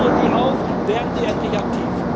Ich fordere Sie auf, werden Sie endlich aktiv!